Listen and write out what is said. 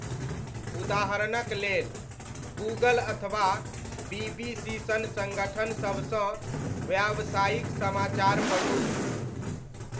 उदाहरणक लेल, गूगल अथवा बीबीसी सन सङ्गठन सबसँ व्यावसायिक समाचार पढू।